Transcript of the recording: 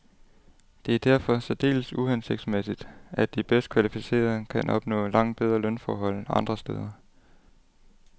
Det er derfor særdeles uhensigtsmæssigt, at de bedst kvalificerede kan opnå langt bedre lønforhold andre steder.